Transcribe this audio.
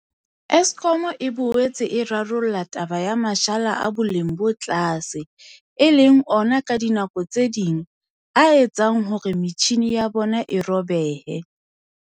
Eskom e boetse e rarolla taba ya mashala a boleng bo tlase, e leng ona ka dinako tse ding a etsang hore metjhini ya bona e robehe.